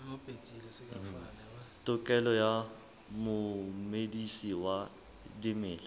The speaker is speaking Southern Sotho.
tokelo ya momedisi wa dimela